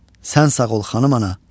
Sən sağ ol, Xanım ana.